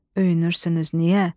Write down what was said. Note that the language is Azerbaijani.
Öyünürsünüz niyə?